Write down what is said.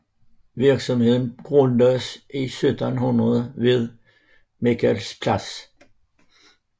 Virksomheden grundlagdes i 1786 ved Michaelerplatz